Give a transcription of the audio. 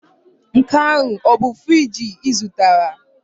Nke ahụ ọ bụ friji ị zụtara?